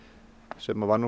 sem var nú